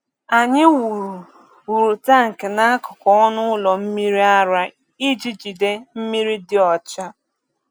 Anyị wuru wuru tank n’akụkụ ọnụ ụlọ mmiri ara iji jide mmiri dị ọcha.